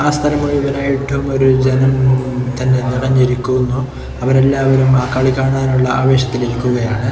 ആ സ്ഥലം മുഴുവനായിട്ടും ഒരു ജനം നിറഞ്ഞിരിക്കുന്നു അവരെല്ലാവരും ആ കളി കാണാനുള്ള ആവേശത്തിൽ ഇരിക്കുകയാണ്.